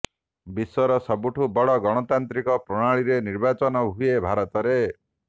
ବିଶ୍ୱର ସବୁଠୁ ବଡ ଗଣତାନ୍ତ୍ରିକ ପ୍ରଣାଳୀରେ ନିର୍ବାଚନ ହୁଏ ଭାରତରେ